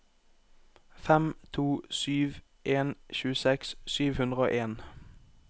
fem to sju en tjueseks sju hundre og en